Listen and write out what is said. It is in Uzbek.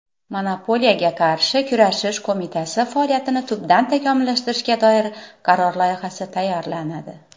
Monopoliyaga qarshi kurashish qo‘mitasi faoliyatini tubdan takomillashtirishga doir qaror loyihasi tayyorlanadi.